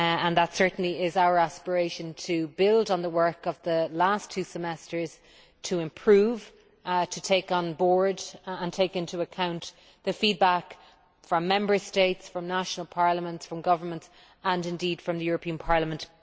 That certainly is our aspiration to build on the work of the last two Semesters to improve, to take on board and take into account the feedback from Member States, from national parliaments, from governments and from the European Parliament.